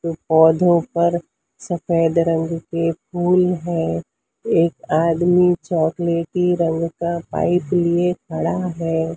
पौधों पर सफेद रंग के फूल है एक आदमी चॉकलेटी रंग का पाइप लिए खड़ा है।